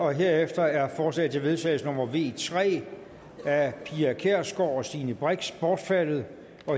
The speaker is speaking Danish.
herefter er forslag til vedtagelse nummer v tre af pia kjærsgaard og stine brix bortfaldet